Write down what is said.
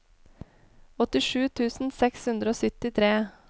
åttisju tusen seks hundre og syttitre